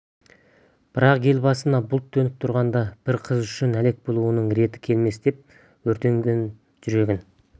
бірақ ел басына бұлт түнеріп тұрғанда бір қыз үшін әлек болуымның реті келмес деп өртенген жүрегін